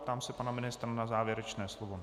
Ptám se pana ministra na závěrečné slovo.